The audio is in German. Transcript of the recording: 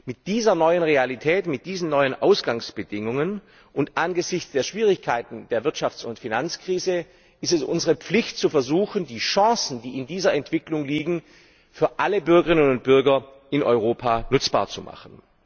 Mit dieser neuen Realität, mit diesen neuen Ausgangsbedingungen und angesichts der Schwierigkeiten der Wirtschafts und Finanzkrise ist es unsere Pflicht, zu versuchen, die Chancen, die in dieser Entwicklung liegen, für alle Bürgerinnen und Bürger in Europa nutzbar zu machen.